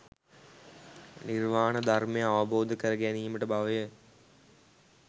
නිර්වාණ ධර්මය අවබෝධ කර ගැනීමට බව ය.